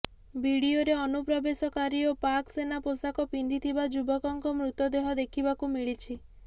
ଭିଡିଓରେ ଅନୁପ୍ରବେଶ କାରୀ ଓ ପାକ୍ ସେନା ପୋଷାକ ପିନ୍ଧିଥିବା ଯୁବକଙ୍କ ମୃତଦେହ ଦେଖିବାକୁ ମିଳିଛି